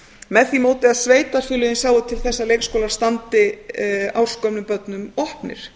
með því móti að sveitarfélögin sjái til þess að leikskólar standi ársgömlum börnum opnir